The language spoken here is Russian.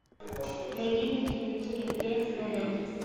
найди на телевизоре т номер